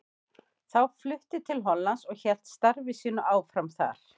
Þá flutti til Hollands og hélt starfi sínu áfram þar.